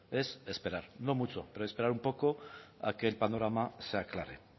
es esperar no mucho pero esperar un poco a que el panorama se aclare